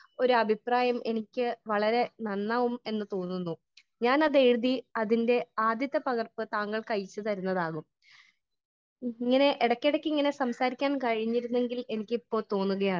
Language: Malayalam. സ്പീക്കർ 1 ഒരു അഭിപ്രായം എനിക്ക് വളരെ നന്നാകും എന്ന് തോന്നുന്നു . ഞാൻ അത് എഴുതി അതിന്റെ ആദ്യത്തെ പകർപ്പ് താങ്കൾക്ക് അയച്ചു തരുന്നതാകും . ഇങ്ങനെ ഇടയ്ക്ക് ഇടയ്ക്ക് ഇങ്ങനെ സംസാരിക്കാൻ കഴിഞ്ഞിരുന്നെങ്കിൽ എനിക്ക് ഇപ്പോൾ തോന്നുകയാണ്